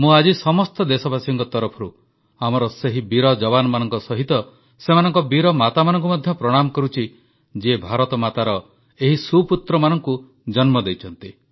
ମୁଁ ଆଜି ସମସ୍ତ ଦେଶବାସୀଙ୍କ ତରଫରୁ ଆମର ସେହି ବୀର ଯବାନମାନଙ୍କ ସହିତ ସେମାନଙ୍କ ବୀର ମାତାମାନଙ୍କୁ ମଧ୍ୟ ପ୍ରଣାମ କରୁଛି ଯିଏ ଭାରତମାତାର ଏହି ସୁପୁତ୍ରମାନଙ୍କୁ ଜନ୍ମ ଦେଇଛନ୍ତି